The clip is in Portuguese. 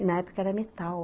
E, na época, era metal.